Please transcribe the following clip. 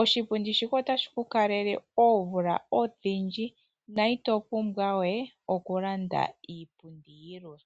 Oshipundi shika otashi ku kalele oomvula odhindji na ito pumbwa we oku landa iipundi yilwe.